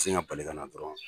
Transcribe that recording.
Ka sin ka bali ka na dɔrɔnw.